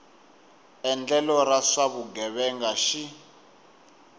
endlelo ra swa vugevenga xi